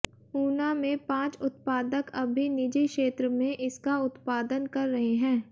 ऊना में पांच उत्पादक अभी निजी क्षेत्र में इसका उत्पादन कर रहे हैं